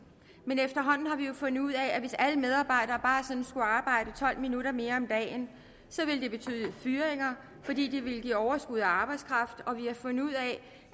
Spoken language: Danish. men efterhånden har vi jo fundet ud af at hvis alle medarbejdere bare sådan skulle arbejde tolv minutter mere om dagen ville det betyde fyringer fordi det ville give overskud af arbejdskraft og vi har fundet ud af